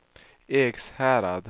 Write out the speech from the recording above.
Ekshärad